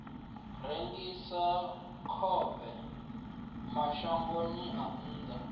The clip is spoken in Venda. rengisa khovhe mashangoni a nnḓa